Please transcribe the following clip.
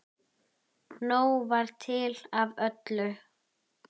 Nóg var til af öllu.